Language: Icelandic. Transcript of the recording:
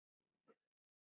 Það er hugsjón hennar.